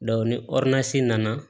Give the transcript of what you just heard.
ni nana